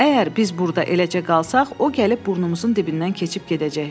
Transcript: Əgər biz burda eləcə qalsaq, o gəlib burnumuzun dibindən keçib gedəcək.